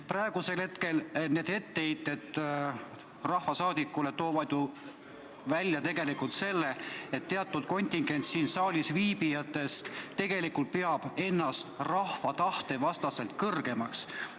Praegu toovad need etteheited rahvasaadikule välja selle, et teatud kontingent siin saalis viibijatest peab ennast rahva tahtest kõrgemaks.